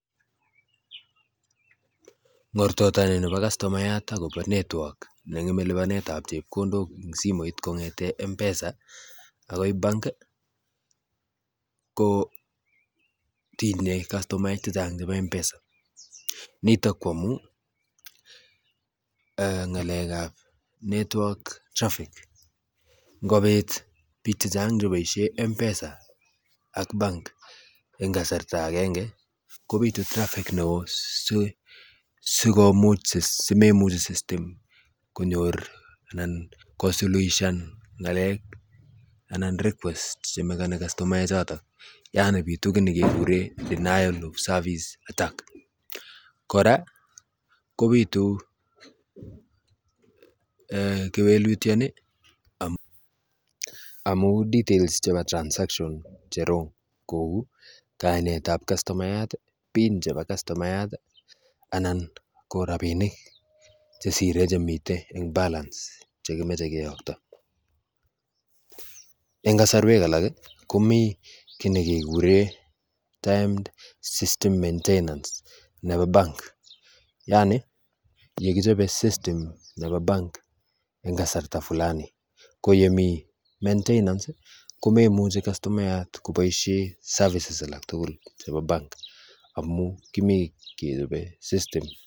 Ngortotonibo kastomayat akobo network nengeme libanetab chepkondok eng simoit kongete m-pesa akoi bank kotinyei kastomaek chechang chebo m-pesa nitok koamu eeh ngalekab network traffic ngobit bik chechang cheboisie m-pesa ak bank eng kasarta agenge kobitu traffic neoo simemuchi system konyor anan ko suluishan ngalek anan requests chemekani kastomaechotok yaani bitu kiy nekekure denial of service attack kora kobitu kewelutioni amu details chebo transactions che wrong kou kainetab kastomayat pin chebo kastomayat anan ko rabinik chesire chemitei eng balance chekimeche koyokto eng kasarweke alak komii kiy nekekure timed system maintenance nebo bank yaani yekichobe system nebo bank eng kasarta flani koyemii maintenance komemuchi kastomayat koboisie services alak tugul chebo bank amu kimii kechobe system